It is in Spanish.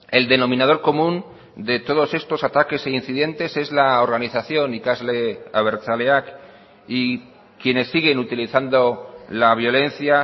el denominador común de todos estos ataques e incidentes es la organización ikasle abertzaleak y quienes siguen utilizando la violencia